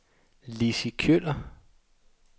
Lissi Kjøller